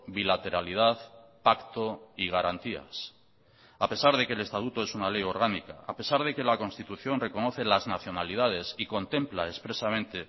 bilateralidad pacto y garantías a pesar de que el estatuto es una ley orgánica a pesar de que la constitución reconoce las nacionalidades y contempla expresamente